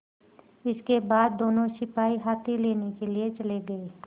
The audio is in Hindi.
इसके बाद दोनों सिपाही हाथी लेने के लिए चले गए